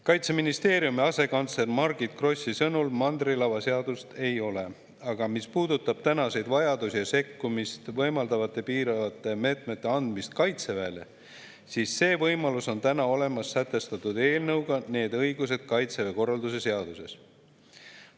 Kaitseministeeriumi asekantsleri Margit Grossi sõnul mandrilava seadust ei ole, aga mis puudutab tänaseid vajadusi ja sekkumist võimaldavate piiravate meetmete võimaluse andmist Kaitseväele, siis see võimalus on olemas eelnõus, millega sätestatakse need õigused Kaitseväe korralduse seaduses.